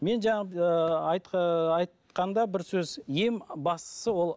мен жаңағы ыыы айтқанда бір сөз ең бастысы ол